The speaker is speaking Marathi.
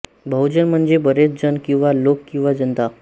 बहुजन म्हणजे बरेच जण किंवा लोक किंवा जनता